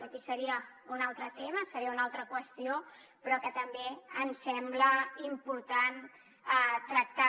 això seria un altre tema seria una altra qüestió però que també ens sembla important tractar